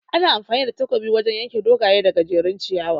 Ana amfani da takobi wajan yanke dogaye da gajejjerun ciyawa